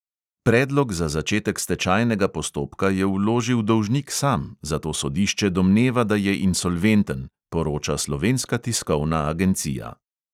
Predlog za začetek stečajnega postopka je vložil dolžnik sam, zato sodišče domneva, da je insolventen, poroča slovenska tiskovna agencija.